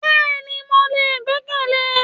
Bẹ́ẹ̀ni ni mo lè gbẹ́kẹ̀le